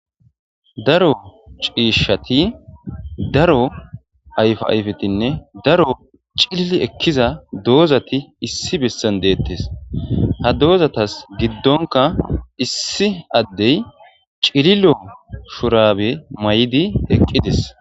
daro ciishshati daro ayfa ayfetinne daro cilil ekkiza doozati issi bessan deettes ha doozatas giddonka issi addey cililo shurabe may7di eqqidis